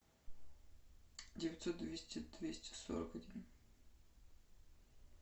девятьсот двести двести сорок один